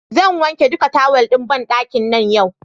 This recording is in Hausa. Zan wanke duka tawal ɗin banɗakin nan yau.